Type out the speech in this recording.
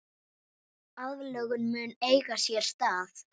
Aðlögun mun eiga sér stað.